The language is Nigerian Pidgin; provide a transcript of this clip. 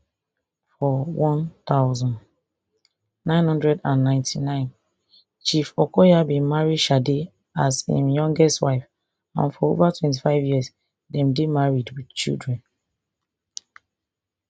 for one thousand, nine hundred and ninety-nine chief okoya bin marry shade as im youngest wife and for over twenty-five years dem dey married wit children